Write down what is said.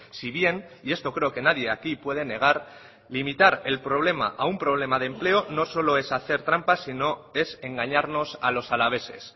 si bien y esto creo que nadie aquí puede negar limitar el problema a un problema de empleo no solo es hacer trampas sino es engañarnos a los alaveses